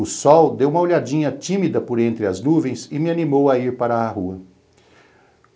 O sol deu uma olhadinha tímida por entre as nuvens e me animou a ir para a rua.